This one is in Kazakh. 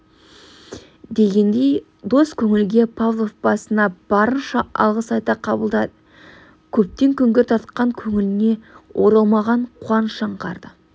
дегендей дос көңілге павлов басына барынша алғыс айта қабылдады көптен күңгірт тартқан көңіліне оралмаған қуаныш аңғарды